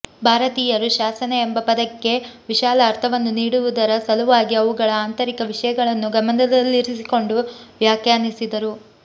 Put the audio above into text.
ಭಾರತೀಯರು ಶಾಸನ ಎಂಬ ಪದಕ್ಕೆ ವಿಶಾಲ ಅರ್ಥವನ್ನು ನೀಡುವುದರ ಸಲುವಾಗಿ ಅವುಗಳ ಆಂತರಿಕ ವಿಷಯಗಳನ್ನು ಗಮನದಲ್ಲಿರಿಸಿಕೊಂಡು ವ್ಯಾಖ್ಯಾನಿಸಿದರು